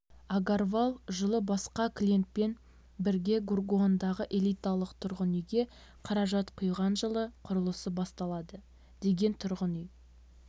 агарвал жылы басқа клиентпен біргегургаондағы элиталық тұрғын үйге қаражат құйған жылы құрылысы басталады деген тұрғын үй